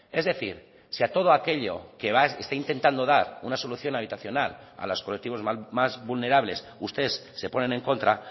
es decir si a todo aquello que está intentando dar una solución habitacional a los colectivos más vulnerables ustedes se ponen en contra